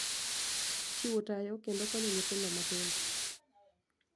Chiwo tayo kendo konyo nyithindo matindo.